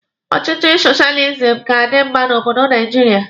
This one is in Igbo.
Ọchịchị soshializim ga-adi mma n'obodo Naijiria.